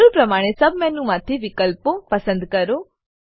જરૂર પ્રમાણે સબ મેનુમાંથી વિકલ્પો પસંદ કરો